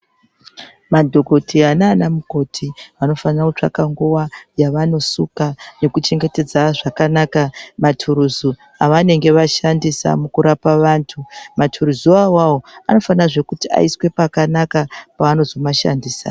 Madhogoteya nana mukoti vanofanira kutsvaka nguva yavanosuka nekuchengetedza zvakanaka maturuzu avanenge vashandisa mukurapa vantu. Maturuzu ivavavo anofanirazve kuti aiswa pakanaka pavanozomashandisa.